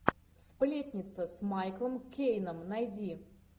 сплетница с майклом кейном найди